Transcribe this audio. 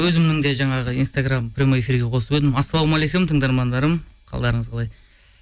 өзімнің де жаңағы инстаграм прямой эфирге қосып едім ассалаумағалейкум тыңдармандарым қалдарыңыз қалай